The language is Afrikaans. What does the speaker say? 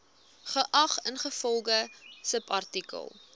geag ingevolge subartikel